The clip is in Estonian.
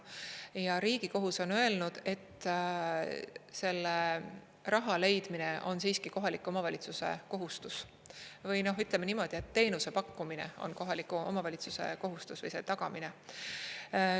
Ja Riigikohus on öelnud, et raha leidmine on siiski kohaliku omavalitsuse kohustus, või ütleme niimoodi, et teenuse pakkumine on kohaliku omavalitsuse kohustus või selle tagamine.